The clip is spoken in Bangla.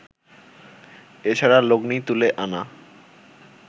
এ ছাড়া লগ্নি তুলে আনা